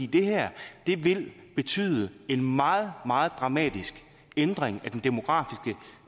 her vil betyde en meget meget dramatisk ændring